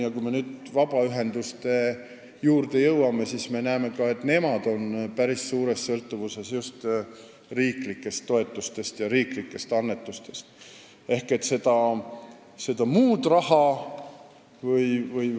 Ja kui nüüd vabaühenduste juurde minna, siis me näeme, et ka nemad on riiklikest toetustest ja riiklikest annetustest päris suures sõltuvuses.